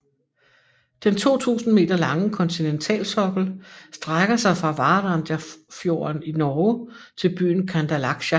Den 2000 m lange kontinentalsokkel strækker sig fra Varangerfjorden i Norge til byen Kandalaksja